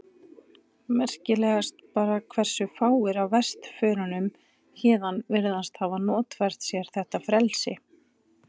Merkilegast bara hversu fáir af vesturförunum héðan virðast hafa notfært sér þetta frelsi.